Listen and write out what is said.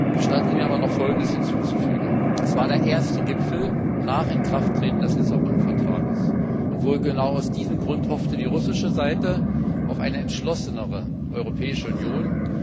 Gestatten Sie mir aber, noch Folgendes hinzuzufügen Es war der erste Gipfel nach Inkrafttreten des Vertrags von Lissabon, und wohl genau aus diesem Grund hoffte die russische Seite auf eine entschlossenere Europäische Union.